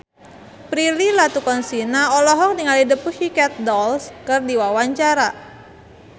Prilly Latuconsina olohok ningali The Pussycat Dolls keur diwawancara